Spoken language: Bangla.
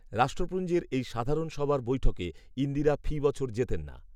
রাষ্ট্রপুঞ্জের এই সাধারণ সভার বৈঠকে ইন্দিরা ফি বছর যেতেন না